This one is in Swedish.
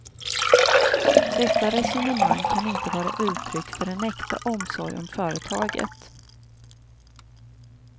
Detta resonemang kan inte vara uttryck för en äkta omsorg om företaget.